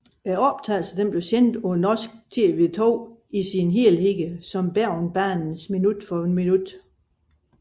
Optagelsen blev sendt på NRK2 i sin helhed som Bergensbanen minut for minut